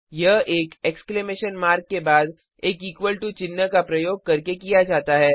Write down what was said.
या एक exclamation mark के बाद एक इक्वल टू चिन्ह का प्रयोग करके किया जाता है